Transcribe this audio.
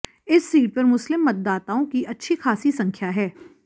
इस सीट पर मुस्लिम मतदाताओं की अच्छी खासी संख्या है